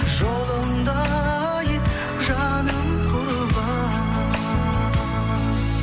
жолыңда ай жаным құрбан